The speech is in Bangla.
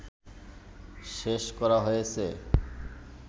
শেষ করা হয়েছে